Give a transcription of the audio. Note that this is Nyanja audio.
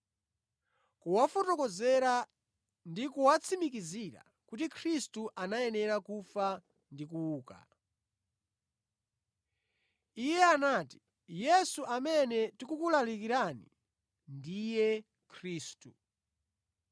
kuwafotokozera ndi kuwatsimikizira kuti Khristu anayenera kufa ndi kuuka. Iye anati, “Yesu amene ndikukulalikirani ndiye Khristu.”